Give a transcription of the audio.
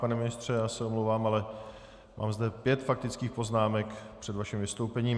Pane ministře, já se omlouvám, ale mám zde pět faktických poznámek před vaším vystoupením.